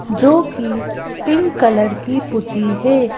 जो कि pink colour की पुती है।